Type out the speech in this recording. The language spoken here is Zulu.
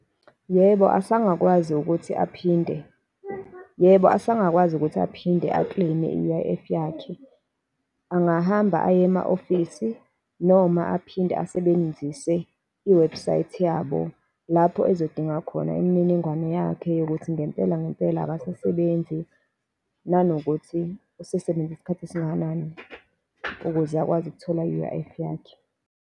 Yebo, azange akwazi ukuthi aphinde, yebo, azange akwazi ukuthi aphinde a-claim-e i-U_I_F yakhe. Angahamba aye ema-ofisi, noma aphinde asebenzise iwebhusayithi yabo, lapho ezodinga khona imininingwane yakhe yokuthi ngempela, ngempela akasasebenzi, nanokuthi usesebenze isikhathi esingakanani ukuze ukwazi ukuthola i-U_I_F yakhe.